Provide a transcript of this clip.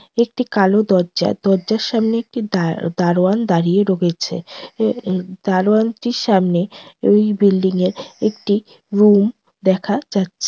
একটি কালো দরজা দরজার সামনে একটি দা দারোয়ান দাঁড়িয়ে রয়েছে এ এ দারোয়ানটির সামনে ওই বিল্ডিংয়ের একটি রুম দেখা যাচ্ছে।